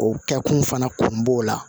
O kɛkun fana kun b'o la